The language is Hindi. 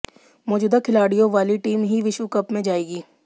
मौजूदा खिलाड़ियों वाली टीम ही विश्व कप में जाएगी